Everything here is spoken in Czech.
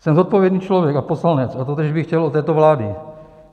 Jsem zodpovědný člověk a poslanec a totéž bych chtěl od této vlády.